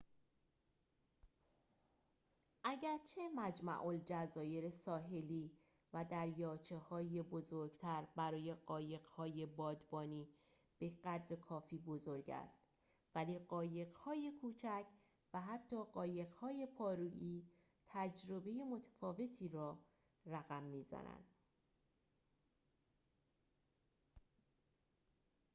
اگرچه مجمع‌الجزایر ساحلی و دریاچه‌های بزرگتر برای قایق‌های بادبانی بقدر کافی بزرگ است ولی قایق‌های کوچک و حتی قایق‌های پارویی تجربه متفاوتی را رقم می‌زند